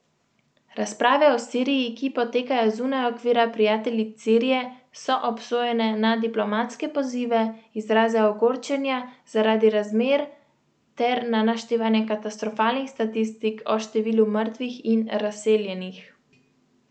Razprave o Siriji, ki potekajo zunaj okvira Prijateljic Sirije, so obsojene na diplomatske pozive, izraze ogorčenja zaradi razmer ter na naštevanje katastrofalnih statistik o številu mrtvih in razseljenih.